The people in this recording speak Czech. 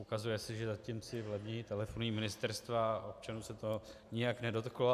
Ukazuje se, že zatím si levněji telefonují ministerstva a občanů se to nijak nedotklo.